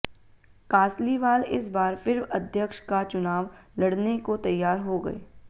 कासलीवाल इस बार फिर अध्यक्ष का चुनाव लड़ने को तैयार हो गए